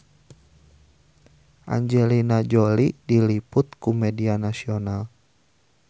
Angelina Jolie diliput ku media nasional